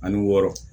Ani wɔɔrɔ